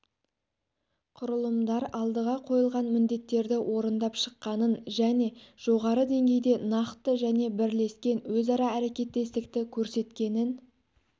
құрылымдар алдыға қойылған міндеттерді орындап шыққанын және жоғары деңгейде нақты және бірлескен өзара әрекеттестікті көрсеткенін